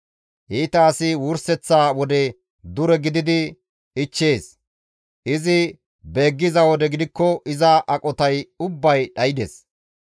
Iita asi wurseththa wode dure gididi ichchees; izi beeggiza wode gidikko iza aqotay ubbay dhaydes.